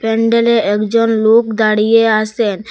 প্যান্ডেলে একজন লোক দাঁড়িয়ে আসেন।